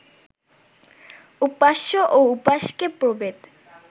উপাস্য-উপাসকে প্রভেদ